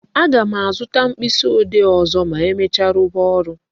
A ga m azụta mkpịsị ode ọzọ ma emecha, rụba ọrụ